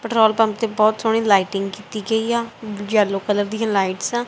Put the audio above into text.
Petrol pump ਤੇ ਬਹੁਤ ਸੋਹਣੀ ਲਾਈਟਿੰਗ ਕੀਤੀ ਗਈ ਆ ਯੈੱਲੋ ਕਲਰ ਦੀਆਂ ਲਾਈਟਸ ਆਂ।